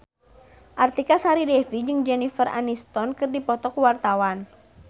Artika Sari Devi jeung Jennifer Aniston keur dipoto ku wartawan